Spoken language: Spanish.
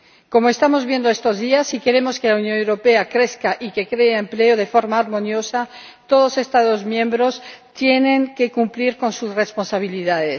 Como estamos viendo estos días, si queremos que la Unión Europea crezca y que cree empleo de forma armoniosa, todos los Estados miembros tienen que cumplir sus responsabilidades.